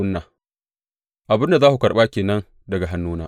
Abin da za ku karɓa ke nan daga hannuna.